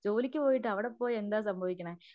ജോലിക്ക് പോയിട്ട് അവിടെ പോയി എന്താ സംഭവിക്കണേ